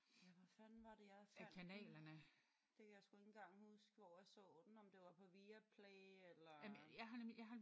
Ja hvor fanden var det jeg fandt den? Det kan jeg sgu ikke engang huske hvor jeg så den om det var på Viaplay eller